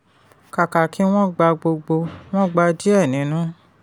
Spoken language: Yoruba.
kàkà kí wọ́n gba gbogbo wọ́n gba díẹ̀ nínú.